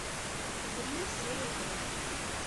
гримм серия пять